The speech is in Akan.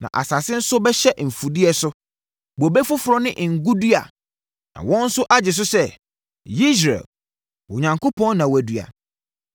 na asase nso bɛgye mfudeɛ so: bobe foforɔ ne ngo dua, na wɔn nso agye so sɛ ‘Yesreel’, ‘Onyankopɔn na wadua’.